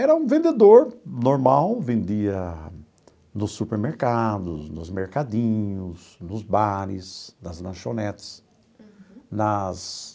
Era um vendedor normal, vendia nos supermercados, nos mercadinhos, nos bares, nas lanchonetes, nas...